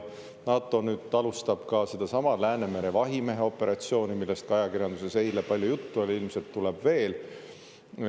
NATO nüüd alustab ka sedasama Läänemere vahimehe operatsiooni, millest ajakirjanduses eile palju juttu oli ja ilmselt tuleb veel.